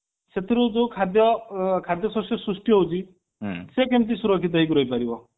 ସେଥିରୁ ଯୋଉ ଖାଦ୍ୟ ସସ୍ୟ ସୃଷ୍ଟି ହଉଛି ସେ କେମିତି ସୁରକ୍ଷିତ ହେଇକି ରହି ପାରିବ